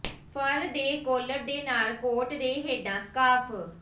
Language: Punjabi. ਫਰ ਦੇ ਕਾਲਰ ਦੇ ਨਾਲ ਕੋਟ ਦੇ ਹੇਠਾਂ ਸਕਾਰਫ